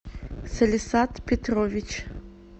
салисат петрович